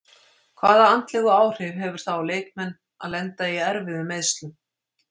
Hvaða andlegu áhrif hefur það á leikmenn að lenda í erfiðum meiðslum?